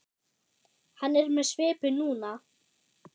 Hann er með svipu núna.